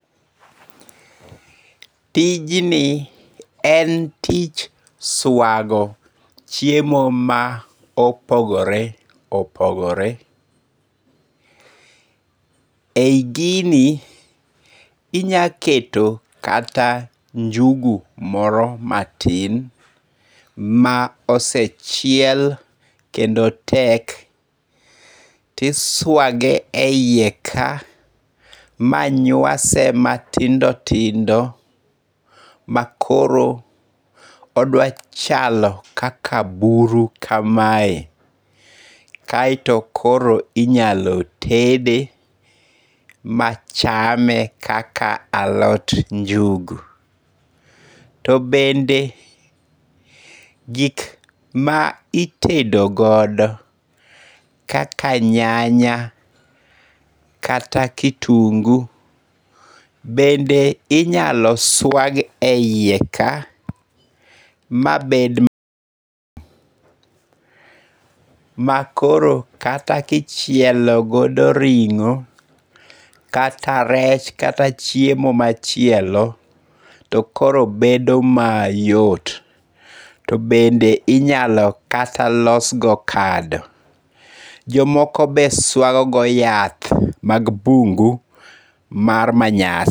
Tijni en tich swago chiemo ma opogore opogore. Eyi gini inyalo keto kata njugu moro matin ma osechiel kendo tek tiswage eiye ka ma nywase matindo tindo ma koro odwa chalo kaka buru kamae, kaeto koro inyalo tede machame kaka alot njugu, to bende gik ma itedogodo kaka nyanya kata kitungu bende inyalo swag e hiye ka ma bed ma koro kata ka ichielo godo ringo' kata rech kata chiemo machielo to koro bedo mayot, to bende inyalo losgodo kado, jomoko bende swago godo yath mag bungu' mar manyasi.